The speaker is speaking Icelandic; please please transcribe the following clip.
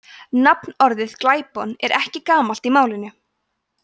nafnorðið glæpon er ekki gamalt í málinu